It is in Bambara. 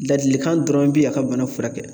Ladilikan dɔrɔn bi a ka bana furakɛ.